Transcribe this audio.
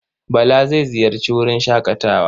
Bala zai ziyarci wurin shaƙatawa.